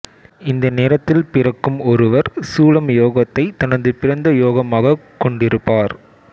இந்த நேரத்தில் பிறக்கும் ஒருவர் சூலம் யோகத்தைத் தனது பிறந்த யோகமாகக் கொண்டிருப்பார்